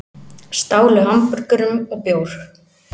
Stálu hamborgurum og bjór